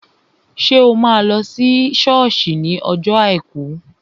Ṣé o máa lọ sí sọ́ọ̀sì ní ọjọ́ àìkú?